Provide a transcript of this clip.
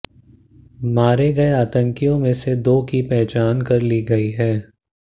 मारे गए आंतकियों में से दो की पहचान कर ली गई है